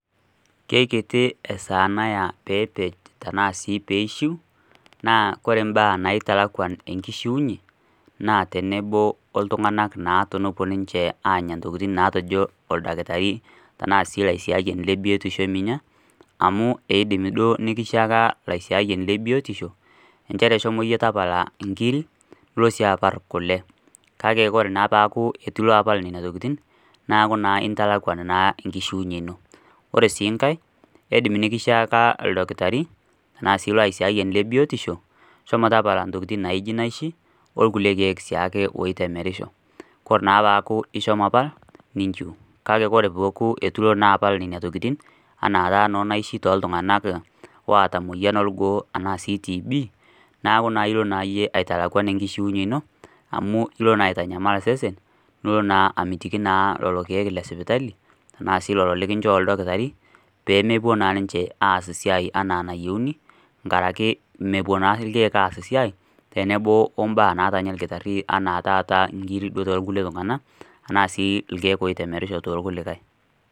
Keikiti esaa naya peepej tanaa sii peishiu naa kore mbaa naitalakwan enkishiunye naa tenebo o ltung'ana naa tenepuo naa ninche aanya ntokitin naatejo oldakitarii tanaa sii laisiayiani le biotisho eminya amu eidim duo nikishiaka laisiayiani le biotisho enchere shomo yie tapala nkiri nulo sii apal kule. Kake kore naa paaku eitu ilo apal nenia tokitin naaku naa intalakwan naa enkishiunye ino. Kore sii nkae, keidim nikishiaka oldakitari tanaa sii lo aisiayiani le biotisho shomo tapala ntokitin naijo naishi o lkule keek siake oitemerisho. Kore naa paaku ishomo apal, ninshiu. Kake paaku eitu naa ilo apal nenia tokitin anaa taata noo naishi too ltung'ana ooata emoyian o lgoo anaa sii TB naaku ilo naa yie aitalakwan enkishiunye ino amu ilo naa aitanyamal sesen nulo naa amitiki naa lolo keek le sipitali tanaa sii lolo likinchoo oldakitarii peemopuo naa ninche aas siai anaa nayieuni nkaraki mepuo naa lkeek aas siai tenebo o mbaa naatanya lkitarii anaa taata nkiri too lkulie tung'ana tanaa sii lkeek oitemerisho too lkuikae.